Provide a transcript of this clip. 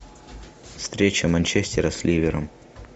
встреча манчестера с ливером